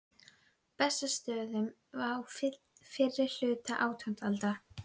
Bessastöðum á fyrri hluta átjándu aldar.